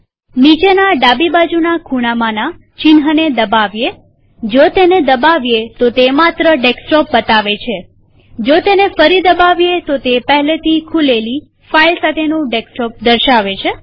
નીચેના ડાબી બાજુના ખૂણામાંના ચિહ્નને દબાવીએજો તેને દબાવીએ તો તે માત્ર ડેસ્કટોપ બતાવે છેજો તેને ફરી દબાવીએ તો તે પહેલેથી ખુલેલી ફાઈલ સાથેનું ડેસ્કટોપ દર્શાવે છે